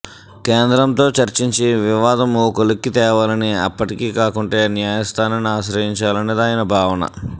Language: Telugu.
కేంద్రంతో చర్చించి వివాదం ఓ కొలిక్కి తేవాలని అప్పటికీ కాకుంటే న్యాయ స్థానాన్ని ఆశ్రయించాలన్నది ఆయన భావన